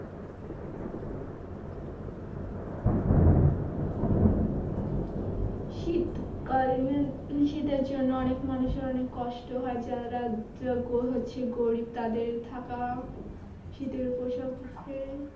শীত কাল শীতের জন্য অনেক মানুষের অনেক কষ্ট হয় যারা হচ্ছে গরিব তাদের থাকা শীতের পোশাক